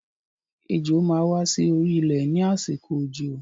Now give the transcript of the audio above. Ejò máa wà sí orí ilé ni àsìkò òjò